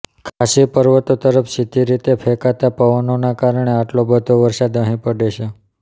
ખાસી પર્વતો તરફ સીધી રીતે ફેંકાતા પવનોના કારણે આટલો બધો વરસાદ અહીં પડે છે